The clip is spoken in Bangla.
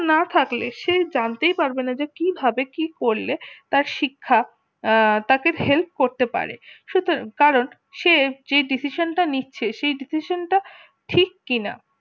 না থাকলে সে জানতেই পারবে না কি ভাবে কি করলে তার শিক্ষা তাকে help করতে পারবে সুতরাং কারণ সে যে decision তা নিচ্ছে সে decision টা ঠিক কিনা